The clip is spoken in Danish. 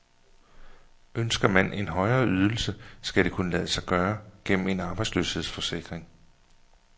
Ønsker man en højere ydelse, skal det kunne lade sig gøre gennem en arbejdsløshedsforsikring.